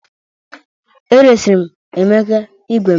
Eresirim Emeka ígwè m